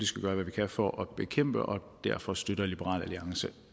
skal gøre hvad vi kan for at bekæmpe og derfor støtter liberal alliance